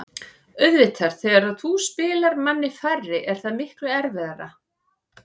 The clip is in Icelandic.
Auðvitað, þegar þú spilar manni færri er það miklu erfiðara.